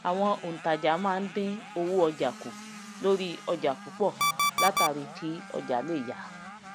àwọn òùntajà ma ń dín owó ọjà kù lórí ọjà púpọ látàrí kí ọjà lè yá